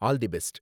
All the best!